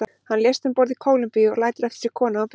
Hann lést um borð í Kólumbíu og lætur eftir sig konu og börn.